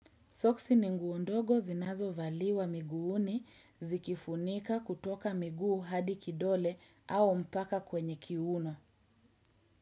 Soksi ni nguo ndogo zinazo valiwa miguuni zikifunika kutoka miguu hadi kidole au mpaka kwenye kiuno.